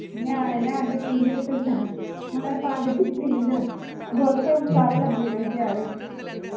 ਨਿਆਣੇ ਲੈਣ ਦੇ ਪੀਂਘ ਤੇ ਝੂਟਾ ਉਨ੍ਹਾਂ ਨੂੰ ਪਾ ਕੇ ਦਿੱਤੀ ਪੀਂਘ ਤੇ ਉਥੇ ਹੁਣ ਸਾਰੇ ਲੱਗੇ ਰਹਿੰਦੇ ਆਰੇ